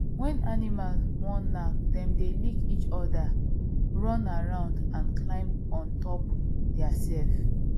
when animals wan knack dem dey lick each other run around and climb on top theirself